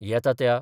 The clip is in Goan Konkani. येता त्या